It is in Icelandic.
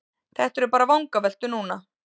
Þetta eru bara vangaveltur núna.